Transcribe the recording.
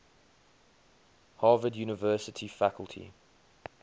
harvard university faculty